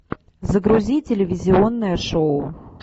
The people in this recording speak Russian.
загрузи телевизионное шоу